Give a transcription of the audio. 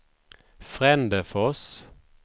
Frändefors